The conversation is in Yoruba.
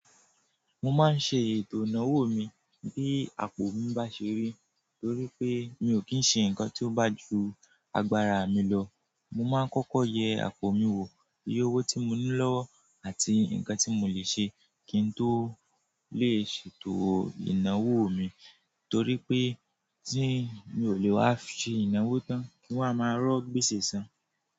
Mo máa ń ṣe ètò ìnáwó mi bí àpò mi bá ṣe rí, torí pé mi ò kí ń ṣe nǹkan tí ó bá ju agbára mi lọ. Mo máa ń kọ́kọ́ yẹ àpò mi wò, iye owó tí mo nílò àti nǹkan tí mo lè ṣe kí n tó lè ṣètò ìnáwó mi, torí pé tí mi ò lè wa ṣe ìnáwó tán, kí wọ́n máa rọ́ gbéṣẹ́ san.